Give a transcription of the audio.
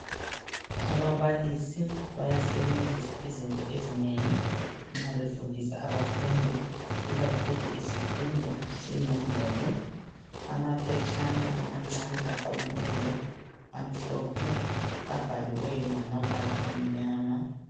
Ababalisi bayasebenzisa izinto ezinengi nxa befundisa abafundi ikakhulu isifundo senombolo amaphetshana amancane aqunyiweyo amhlophe abhaliweyo ngamabala amnyana.